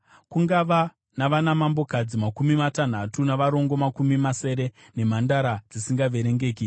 Kungava navanamambokadzi makumi matanhatu, navarongo makumi masere nemhandara dzisingaverengeki;